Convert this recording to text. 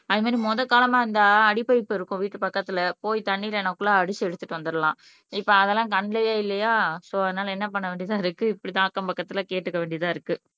அது மாதிரி மொத காலமா இருந்தா அடி பைப் இருக்கும் வீட்டு பக்கத்துல போய் தண்ணி இல்லன்னாகுள்ள அடிச்சு எடுத்துட்டு வந்துரலாம் இப்போ அதெல்லாம் கண்ணுலையே இல்லையா சோ அதனால என்ன பண்ண வேண்டியதா இருக்கு இப்படித்தான் அக்கம் பக்கத்துல கேட்டுக்க வேண்டியதா இருக்கு